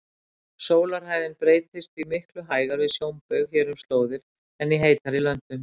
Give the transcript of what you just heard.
Sólarhæðin breytist því miklu hægar við sjónbaug hér um slóðir en í heitari löndum.